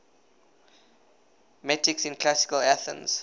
metics in classical athens